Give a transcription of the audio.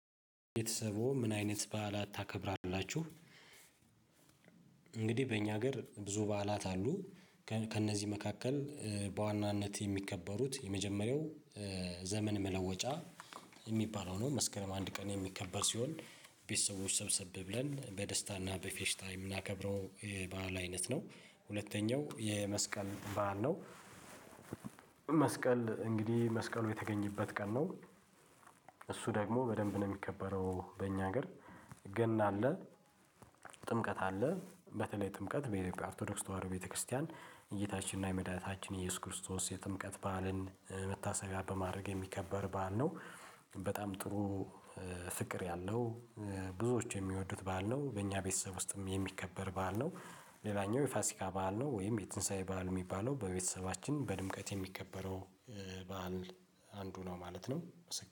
ቤተሰቦ ምን አይነት በዓላት ታከብራላችሁ? እንግዲህ በእኛ ሀገር ብዙ በዓላት አሉ ከእነዚህ መካከል በዋናነት የሚከበሩት የመጀመሪያው ዘመን መለወጫ የሚባለው ነው። መስከረም አንድ ቀን የሚከበር ሲሆን ቤተሰቦች ሰብሰብ ብለን በደስታና በፌሽታ የምናከብረው የባህል አይነት ነው። ሁለተኛው የመስቀል ባዓል ነው። እንግዲህ መስቀሉ የተገኘበት ቀን ነው። እሱ ደግሞ በደንብ ነው የሚከበረው በእኛ ሀገር ገና አለ። ጥምቀት አለ በተለይ ጥምቀት በኦርቶዶክስ ተዋህዶ የጌታችንና የመዳታችን የኢየሱስ ክርስቶስ የጥምቀት በዓልን መታሰቢያ በማድረግ የሚከበር በዓል ነው። በጣም ጥሩ ፍቅር ያለው ብዙዎች የሚወዱት በዓል ነው በእኛ ቤተሰብ ውስጥም የሚከበር በዓል ነው። ሌላኛው የፋሲካ በዓል ነው ወይም የትንሳኤ በዓል የሚባለው በቤተሰባችን በድምቀት የሚከበረው በዓል አንዱ ነው ማለት ነው።